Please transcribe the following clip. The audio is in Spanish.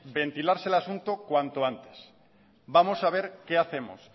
ventilarse el asunto cuando antes vamos a ver qué hacemos